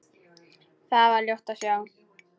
Þar var ljótt að sjá.